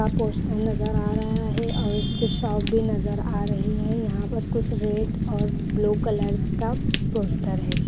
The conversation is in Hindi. का पोस्टर नजर आ रहा है और इसके शॉप भी नजर आ रही है यहाँ पर कुछ रेड और ब्लू कलर्स का पोस्टर है।